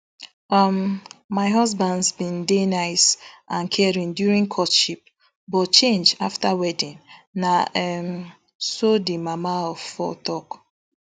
um my husbands bin dey nice and caring during courtship but change afta wedding na um so di mama of four tok